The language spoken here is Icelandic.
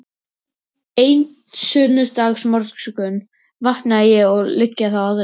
Einn sunnudagsmorgun vakna ég og liggja þá aðrir